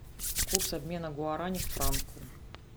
курс обмена гуарани к франку